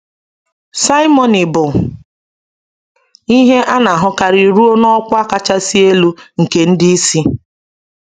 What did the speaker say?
Simony bụ ihe a na-ahụkarị ruo n’ọkwa kachasị elu nke ndị isi.